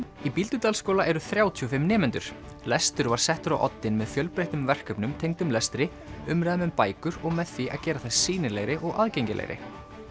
í Bíldudalsskóla eru þrjátíu og fimm nemendur lestur var settur á oddinn með fjölbreyttum verkefnum tengdum lestri umræðum um bækur og með því að gera þær sýnilegri og aðgengilegri